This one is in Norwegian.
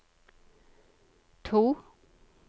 to